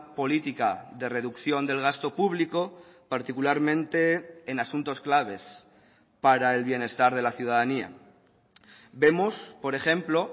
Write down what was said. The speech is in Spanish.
política de reducción del gasto público particularmente en asuntos claves para el bienestar de la ciudadanía vemos por ejemplo